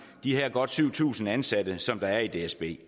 de her godt syv tusind ansatte som er i dsb